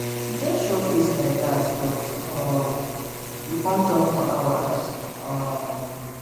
she just show face like dat but um we com talk for hours um